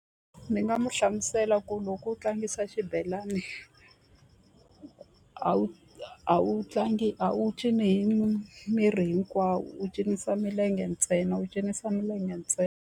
Ni nga mu hlamusela ku loko u tlangisa xibelani a wu a wu tlangi a wu cinci hi miri hinkwawo u cinisa milenge ntsena u cinisa milenge ntsena.